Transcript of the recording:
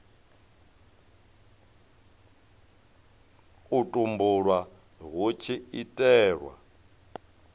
u tumbulwa hu tshi itelwa